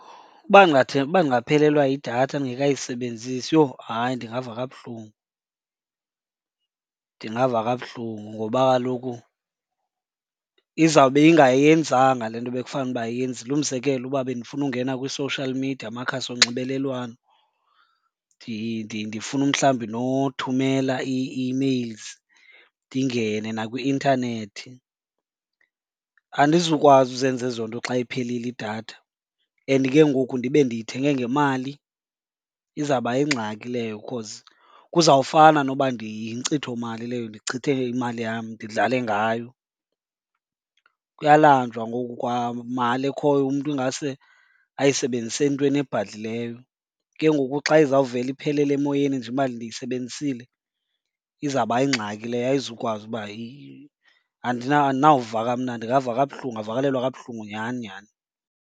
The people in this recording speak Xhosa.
Uba uba ndingaphelelwa yidatha ndingekayisebenzisi, yho, hayi ndingava kabuhlungu. Ndingava kabuhlungu ngoba kaloku izawube ingayenzanga le nto bekufanuba iyenzile. Umzekelo uba bendifuna ungena kwi-social media, amakhasi onxibelelwano, ndifuna umhlawumbi nothumela ii-emails, ndingene nakwi-intanethi andizukwazi uzenza ezo nto xa iphelile idatha and ke ngoku ndibe ndiyithenge ngemali. Izawuba yingxaki leyo cause kuzawufana noba yinkcitho mali leyo, ndichithe imali yam, ndidlale ngayo. Kuyalanjwa ngoku, kwamali ekhoyo umntu ingase ayisebenzise entweni ebhadlileyo. Ke ngoku xa izawuvela iphelele emoyeni nje imali ndiyisebenzisile, izawuba yingxaki leyo ayizukwazi uba . Andinawuva kamnandi, ndingava kabuhlungu. Ndingavakalelwa kabuhlungu nyhani nyhani.